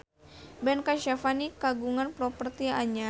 Ben Kasyafani kagungan properti anyar